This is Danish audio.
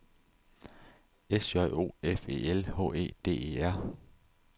S J O F E L H E D E R